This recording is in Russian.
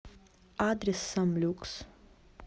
адрес самлюкс